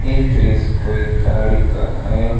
ये दृश्य कोई गाड़ी का है।